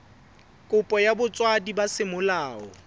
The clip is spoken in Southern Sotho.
kopo ya botswadi ba semolao